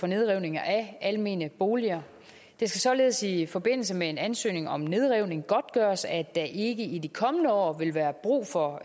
nedrivning af almene boliger det skal således i forbindelse med en ansøgning om nedrivning godtgøres at der ikke i de kommende år vil være brug for